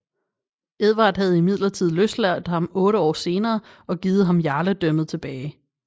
Edvard havde imidlertid løsladt ham otte år senere og givet ham jarledømmet tilbage